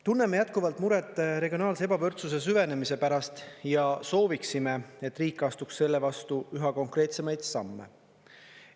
Tunneme jätkuvalt muret regionaalse ebavõrdsuse süvenemise pärast ja sooviksime, et riik astuks selle vastu üha konkreetsemaid samme.